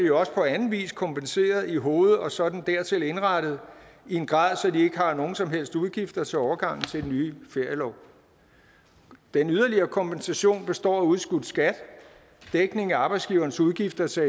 jo også på anden vis kompenseret i hoved og så den dertil indrettede i en grad så de ikke har nogen som helst udgifter til overgangen til den nye ferielov den yderligere kompensation består af udskudt skat dækning af arbejdsgiverens udgifter til